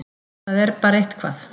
Það er bara eitthvað